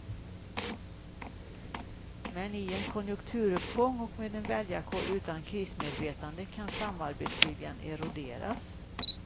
Men i en konjunkturuppgång och med en väljarkår utan krismedvetande kan samarbetsviljan eroderas.